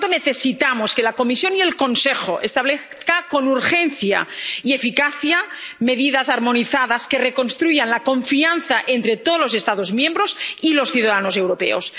Por lo tanto, necesitamos que la Comisión y el Consejo establezcan con urgencia y eficacia medidas armonizadas que reconstruyan la confianza entre todos los Estados miembros y los ciudadanos europeos